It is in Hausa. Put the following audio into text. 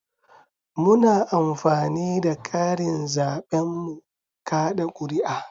Muna amfani da karin zaben mu kaɗa kuri'a